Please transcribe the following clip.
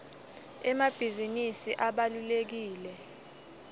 emabhizinisi abalulekile